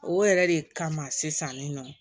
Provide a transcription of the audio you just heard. O yɛrɛ de kama sisan nin nɔn